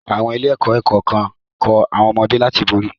Àwọn ilé-ẹ̀kọ́ kan ń kọ́ àwọn ọmọdé láti borí.